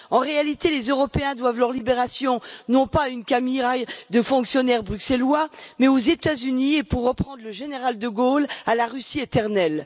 En réalité, les Européens doivent leur libération, non pas à une camarilla de fonctionnaires bruxellois, mais aux États Unis, et, pour reprendre les propos du général de Gaulle, à la Russie éternelle.